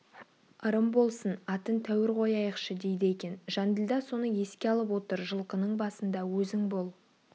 ырым болсын атын тәуір қояйықшы дейді екен жанділда соны еске алып отыр жылқының басында өзің бол